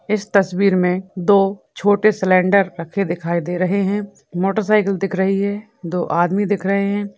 इस तस्वीर में दो छोटे सिलेंडर रखे दिखाई दे रहे है मोटरसाइकिल दिख रही है दो आदमी दिख रहे है।